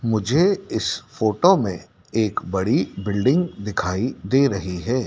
मुझे इस फोटो में एक बड़ी बिल्डिंग दिखाई दे रही है।